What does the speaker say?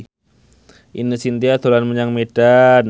Ine Shintya dolan menyang Medan